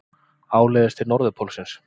Áleiðis til Norðurpólsins.